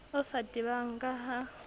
o sa tebang ka ha